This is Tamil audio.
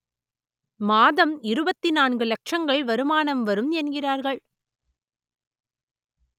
மாதம் இருபத்தி நான்கு லட்சங்கள் வருமானம் வரும் என்கிறார்கள்